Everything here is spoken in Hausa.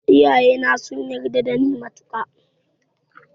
Iyaye na sun yarda da ni matuka